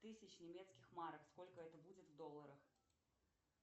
тысяч немецких марок сколько это будет в долларах